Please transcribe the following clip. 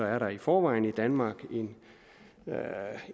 er der i forvejen i danmark